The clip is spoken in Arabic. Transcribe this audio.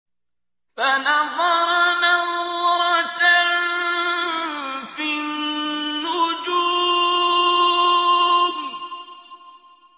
فَنَظَرَ نَظْرَةً فِي النُّجُومِ